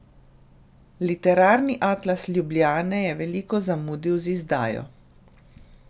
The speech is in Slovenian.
Literarni atlas Ljubljane je veliko zamudil z izdajo.